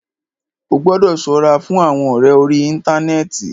Ó gbọ́dọ̀ ṣọ́ra fún àwọn ọ̀rẹ orí íntanẹ́ẹ̀ti.